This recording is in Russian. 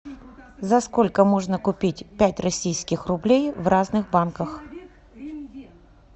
за сколько можно купить пять российских рублей в разных банках